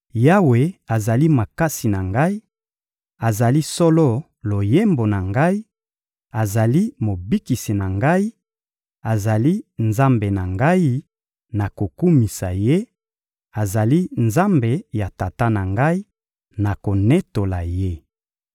Yawe azali makasi na ngai, azali solo loyembo na ngai, azali mobikisi na ngai, azali Nzambe na ngai, nakokumisa Ye; azali Nzambe ya tata na ngai, nakonetola Ye.